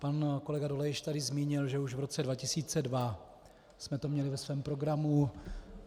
Pan kolega Dolejš tady zmínil, že už v roce 2002 jsme to měli ve svém programu.